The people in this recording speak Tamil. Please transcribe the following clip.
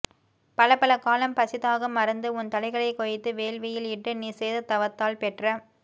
பலப்பல காலம் பசிதாகம் மறந்து உன் தலைகளைக் கொய்து வேள்வியில் இட்டு நீ செய்த தவத்தால் பெற்ற